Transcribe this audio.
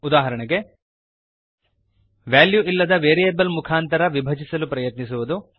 ಉದಾಹರಣೆಗೆ ವೆಲ್ಯೂ ಇಲ್ಲದ ವೇರಿಯಬಲ್ ಮುಖಾಂತರ ವಿಭಜಿಸಲು ಪ್ರಯತ್ನಿಸುವುದು